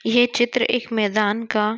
ये चित्र एक मेदान का--